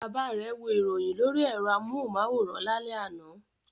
Bàbá rẹ̀ wo ìròyìn lórí ẹ̀rọ amóhùmáwòhán lálẹ́ àná.